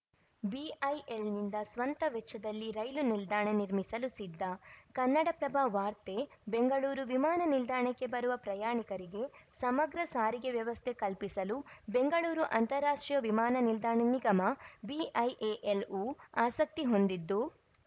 ಬಿಐಎಲ್‌ನಿಂದ ಸ್ವಂತ ವೆಚ್ಚದಲ್ಲಿ ರೈಲು ನಿಲ್ದಾಣ ನಿರ್ಮಿಸಲು ಸಿದ್ಧ ಕನ್ನಡಪ್ರಭ ವಾರ್ತೆ ಬೆಂಗಳೂರು ವಿಮಾನ ನಿಲ್ದಾಣಕ್ಕೆ ಬರುವ ಪ್ರಯಾಣಿಕರಿಗೆ ಸಮಗ್ರ ಸಾರಿಗೆ ವ್ಯವಸ್ಥೆ ಕಲ್ಪಿಸಲು ಬೆಂಗಳೂರು ಅಂತಾರಾಷ್ಟ್ರೀಯ ವಿಮಾನ ನಿಲ್ದಾಣ ನಿಗಮ ಬಿಐಎಎಲ್‌ವು ಆಸಕ್ತಿ ಹೊಂದಿದ್ದು